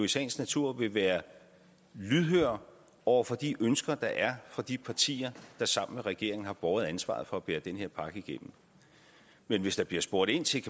sagens natur vil være lydhør over for de ønsker der er fra de partier der sammen med regeringen har båret ansvaret for at bære den her pakke igennem men hvis der bliver spurgt ind til